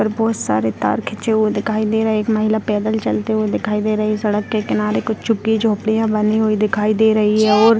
और बहुत सारे तार खींचे हुए दिखाई दे रहे हैं एक महिला पैदल चलते हुए दिखाई दे रही है सड़क के किनारे कुछ झुकी-झोपड़ियाँ बनी हुई दिखाई दे रही हैं और --